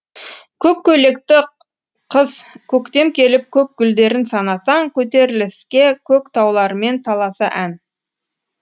көк көи лекті қыз көктем келіп көк гүлдерін санасаң көтерілсе көк таулармен таласа ән